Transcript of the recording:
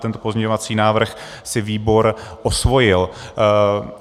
Tento pozměňovací návrh si výbor osvojil.